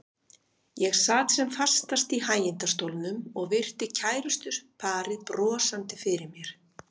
Ég sat sem fastast í hægindastólnum og virti kærustuparið brosandi fyrir mér.